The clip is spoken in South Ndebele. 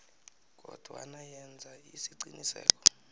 kodwana yenza isiqiniseko